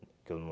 Que eu não...